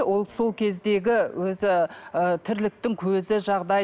ол сол кездегі өзі ы тірліктің көзі жағдайы